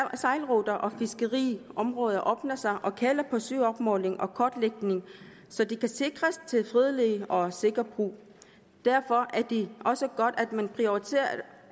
sejlruter og fiskeriområder åbner sig og kalder på søopmåling og kortlægning så de kan sikres til fredelig og sikker brug derfor er det også godt at man prioriterer